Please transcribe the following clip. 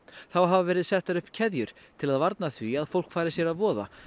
þá hafa verið settar upp keðjur til að varna því að fólk fari sér að voða